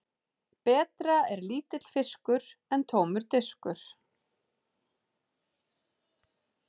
Betra er lítill fiskur en tómur diskur.